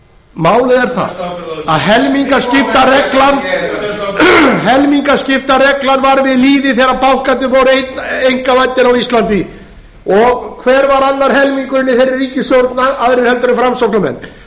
málið er það að helmingaskiptareglan var við lýði þegar bankarnir voru einkavæddir á íslandi og hver var annar helmingurinn í þeirri ríkisstjórn aðrir heldur en framsóknarmenn